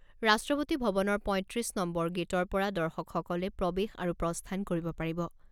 ৰাষ্ট্ৰপতি ভৱনৰ পঁইত্ৰিছ নম্বৰ গেটৰ পৰা দৰ্শকসকলে প্ৰৱেশ আৰু প্ৰস্থান কৰিব পাৰিব।